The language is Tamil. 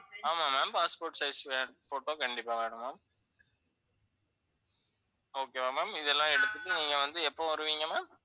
ஆமா ma'am passport size photo கண்டிப்பா வேணும் ma'am. okay வா ma'am இதெல்லாம் எடுத்துட்டு நீங்க வந்து எப்ப வருவீங்க ma'am?